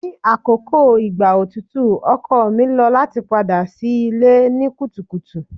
Ni akoko igba otutu ọkọ mi lo lati pada si ile ni kutukutu